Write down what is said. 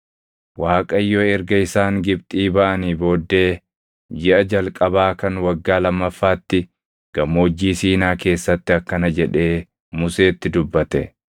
Waaqayyo erga isaan Gibxii baʼanii booddee jiʼa jalqabaa kan waggaa lammaffaatti Gammoojjii Siinaa keessatti akkana jedhee Museetti dubbate;